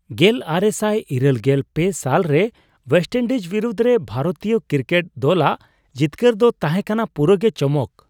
᱑᱙᱘᱓ ᱥᱟᱞ ᱨᱮ ᱳᱭᱮᱥᱴᱼᱤᱱᱰᱤᱡᱽ ᱵᱤᱨᱩᱫᱷ ᱨᱮ ᱵᱷᱟᱨᱚᱛᱤᱭᱚ ᱠᱨᱤᱠᱮᱴ ᱫᱚᱞᱟᱜ ᱡᱤᱛᱠᱟᱹᱨ ᱫᱚ ᱛᱟᱦᱮᱸ ᱠᱟᱱᱟ ᱯᱩᱨᱟᱹᱜᱮ ᱪᱚᱢᱚᱠ ᱾